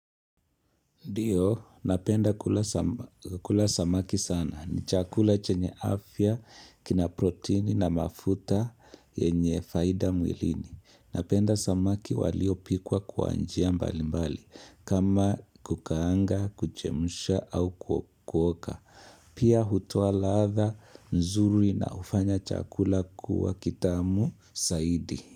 Ndiyo, napenda kula samaki sana. Ni chakula chenye afya, kina protini na mafuta yenye faida mwilini. Napenda samaki waliopikwa kwa njia mbali mbali, kama kukaanga, kuchemsha au kukoka. Pia hutoa ladha, nzuri na hufanya chakula kuwa kitamu, zaidi.